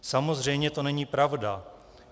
Samozřejmě to není pravda.